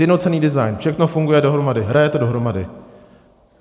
Sjednocený design, všechno funguje dohromady, hraje to dohromady.